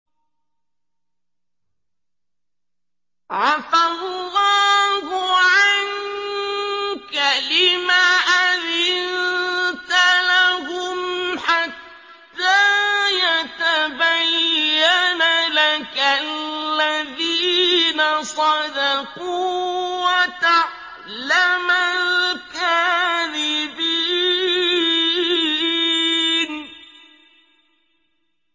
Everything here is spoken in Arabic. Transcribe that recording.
عَفَا اللَّهُ عَنكَ لِمَ أَذِنتَ لَهُمْ حَتَّىٰ يَتَبَيَّنَ لَكَ الَّذِينَ صَدَقُوا وَتَعْلَمَ الْكَاذِبِينَ